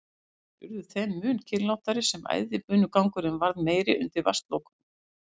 Aðrir urðu þeim mun kyrrlátari sem æðibunugangurinn varð meiri undir vatnslokunum.